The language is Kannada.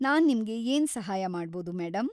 ನಾನ್‌ ನಿಮ್ಗೆ ಏನ್ ಸಹಾಯ ಮಾಡ್ಬೋದು ಮೇಡಂ?